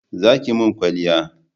Za ki mun kwalliya